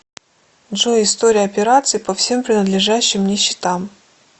джой история операций по всем принадлежащим мне счетам